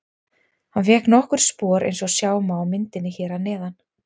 Hann fékk nokkur spor eins og sjá má á myndinni hér að neðan.